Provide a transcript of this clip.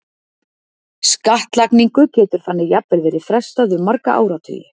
Skattlagningu getur þannig jafnvel verið frestað um marga áratugi.